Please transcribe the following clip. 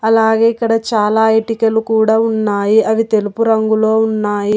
అలాగే ఇక్కడ చాలా ఇటికలు కూడా ఉన్నాయి అవి తెలుపు రంగులో ఉన్నాయి.